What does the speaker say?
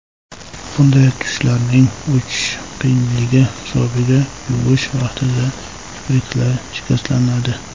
Bunday tushlarning o‘chishi qiyinligi hisobiga yuvish vaqtida kipriklar shikastlanadi.